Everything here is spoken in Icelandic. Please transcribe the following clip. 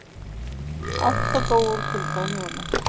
Átta dóu úr kulda um jólin